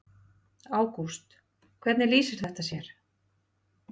Ágúst: Hvernig lýsir þetta sér?